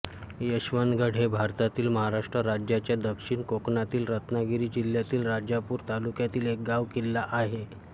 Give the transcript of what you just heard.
यशवंतगड हे भारतातील महाराष्ट्र राज्याच्या दक्षिण कोकणातल्या रत्नागिरी जिल्ह्यातील राजापूर तालुक्यातले एक गाव किल्ला आहे